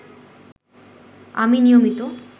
আমি নিয়মিত